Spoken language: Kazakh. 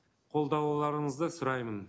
қолдауларыңызды сұраймын